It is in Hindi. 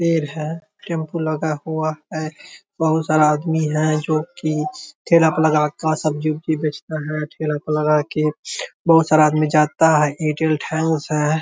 पेड़ है टेंपू लगा हुआ है बहुत सारा आदमी है जो की ठेला पा लगा का सब्जी-उबजी बेचता है ठेला पे लगा के बहुत-सारा आदमी जाता है एयरटेल थैंक्स है।